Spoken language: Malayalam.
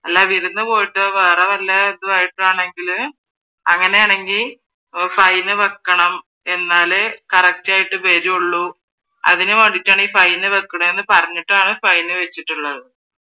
അല്ലാതെ വിരുന്ന് പോയിട്ടു വേറെ വല്ല ഇതോ ആണെങ്കിൽ അങ്ങനെ ആണെങ്കിൽ ഫൈൻ വെക്കണം എന്നാലേ കറക്റ്റ് ആയിട്ട് വരുള്ളൂ അതിന് വേണ്ടീട്ടാണ് ഈ ഫൈൻ വെക്കാണെന്ന് പറഞ്ഞിട്ടാണ് ഫൈൻ വെച്ചിട്ടുള്ളത്.